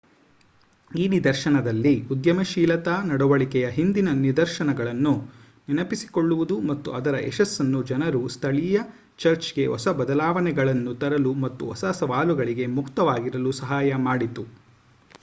ಈ ನಿದರ್ಶನದಲ್ಲಿ ಉದ್ಯಮಶೀಲತಾ ನಡವಳಿಕೆಯ ಹಿಂದಿನ ನಿದರ್ಶನಗಳನ್ನು ನೆನಪಿಸಿಕೊಳ್ಳುವುದು ಮತ್ತು ಅದರ ಯಶಸ್ಸನ್ನು ಜನರು ಸ್ಥಳೀಯ ಚರ್ಚ್‌ಗೆ ಹೊಸ ಬದಲಾವಣೆಗಳನ್ನು ತರಲು ಮತ್ತು ಹೊಸ ಸವಾಲುಗಳಿಗೆ ಮುಕ್ತವಾಗಿರಲು ಸಹಾಯ ಮಾಡಿತು